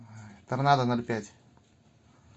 торнадо ноль пять